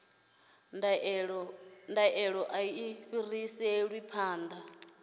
ndaela a i fhiriselwi phanḓa